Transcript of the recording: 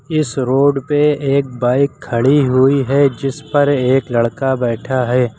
इस रोड पे एक बाइक खड़ी हुई है जिस पर एक लड़का बैठा है।